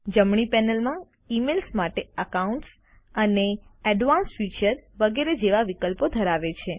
જમણી પેનલમાં ઈમેઈલ માટે અકાઉન્ટ્સ અને એડવાન્સ્ડ ફીચર્સ વગેરે જેવા વિકલ્પો ધરાવે છે